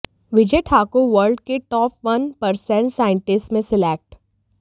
विजय Thakur world के top one percent scientist में select